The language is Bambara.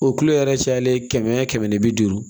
O kulo yɛrɛ cayalen kɛmɛ kɛmɛ ni bi duuru